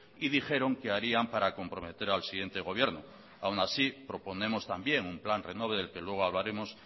y dijeron que harían para comprometer al siguiente gobierno aun así proponemos también un plan renove del que luego hablaremos